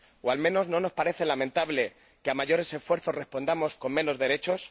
O, al menos, ¿no nos parece lamentable que a mayores esfuerzos respondamos con menos derechos?